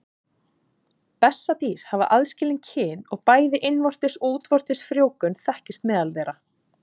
Bessadýr hafa aðskilin kyn og bæði innvortis og útvortis frjóvgun þekkist meðal þeirra.